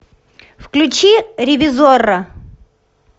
включи ревизорро